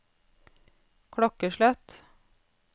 klokkeslett